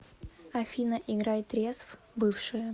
афина играй трезв бывшие